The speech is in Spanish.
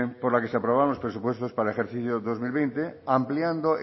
por la que se aprobaron los presupuestos para el ejercicio dos mil veinte ampliando